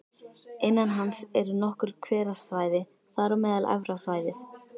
Innan hans eru nokkur hverasvæði, þar á meðal Efra svæðið